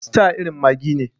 Star irin maggi ne.